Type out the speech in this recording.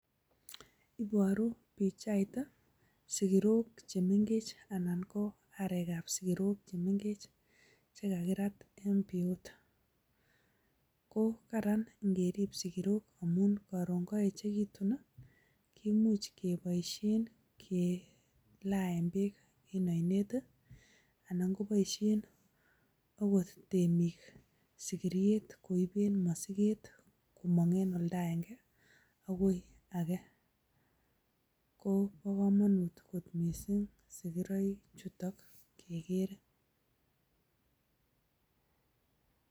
Iboru pichait sigirokche mengech anan ko arekab sigirok che mengech che kagirat en pii yuto. Ko karan ngerib sigirok amun koron koyechekitun kemuch kiboisien kelaaen beek en oinet anan koboisien agot temik sigiriet koiben mosiget komong en oldo agenge agoi age. Ko bo komonut mising sigiroichuto kegeere.